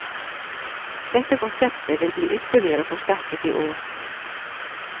Dette konseptet vil bli ytterligere forsterket i år.